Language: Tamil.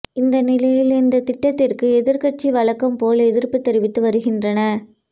இந்த நிலையில் இந்த திட்டத்திற்கு எதிர்க்கட்சிகள் வழக்கம்போல் எதிர்ப்பு தெரிவித்து வருகின்றன